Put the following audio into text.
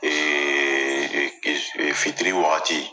Eee e e e fitiri waati